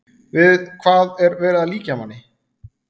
Við hvað er verið að líkja manni?